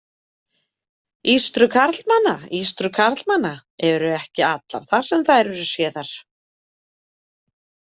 Ístrur karlmanna Ístrur karlmanna eru ekki allar þar sem þær eru séðar.